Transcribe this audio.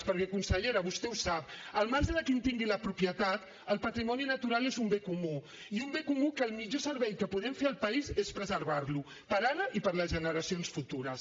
perquè consellera vostè ho sap al marge de qui en tingui la propietat el patrimoni natural és un bé comú i un bé comú que el millor servei que podem fer al país és preservar lo per ara i per a les generacions futures